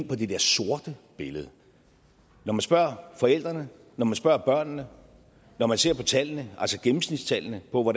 på det der sorte billede når man spørger forældrene når man spørger børnene når man ser på tallene altså gennemsnitstallene for hvor